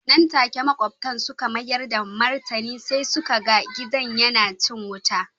Nan take makwabta suka mayar da martani sai suka ga gidan yana cin wuta.